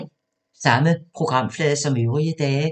Samme programflade som øvrige dage